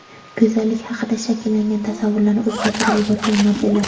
Go‘zallik haqida shakllangan tasavvurlarni o‘zgartirib yuborgan modellar .